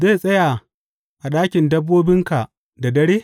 Zai tsaya a ɗakin dabbobinka da dare?